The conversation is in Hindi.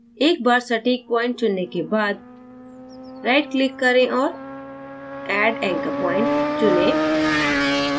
एक बार सटीक point चुनने के बाद right click करें और add anchor point चुनें